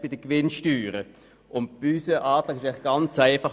Unser Antrag ist ganz einfach.